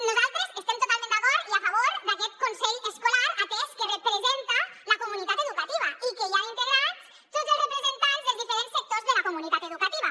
nosaltres estem totalment d’acord i a favor d’aquest consell escolar atès que representa la comunitat educativa i que hi han integrats tots els representants dels diferents sectors de la comunitat educativa